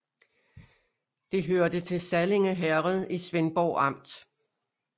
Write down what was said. Det hørte til Sallinge Herred i Svendborg Amt